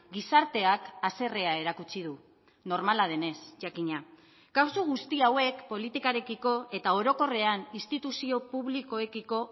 gizarteak haserrea erakutsi du normala denez jakina kasu guzti hauek politikarekiko eta orokorrean instituzio publikoekiko